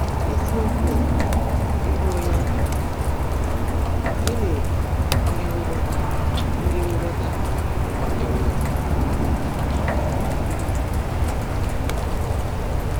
Ísiokwú bụ́ “Ị́bụ́ Ónyé Á Chụ́ụ́rụ́ n’Ọ́rụ́ — Gị́ní Bụ́ Íhe Ngwọ́tá Ndị́ Ngwọ́tá Ndị́ É Nwèrè?”